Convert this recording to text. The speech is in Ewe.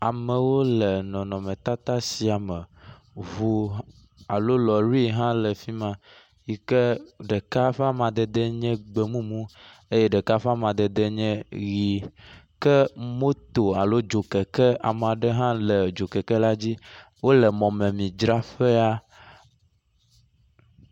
Amewo le nɔnɔmetata sia me. Ŋu hã alo lɔɖi hã le afi ma yi ke ɖeka ƒe amadede nye gbemumu eye ɖeka ƒe amadede nye ʋi ke moto alo dzokeke ame aɖe hã le dzokeke la dzi wo le mɔmemidzraƒe la.